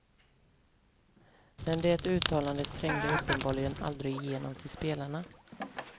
Men det uttalandet trängde uppenbarligen aldrig igenom till spelarna.